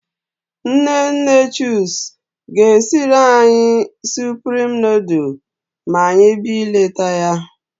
Nne nne Chuks ga-esiri anyị supreme nudul ma anyị bịa ileta ya.